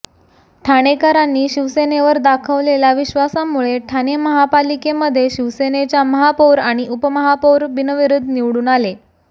ठाणेकरांनी शिवसेनेवर दाखवलेल्या विश्वासामुळे ठाणे महापालिकेमध्ये शिवसेनेच्या महापौर आणि उपमहापौर बिनविरोध निवडून आले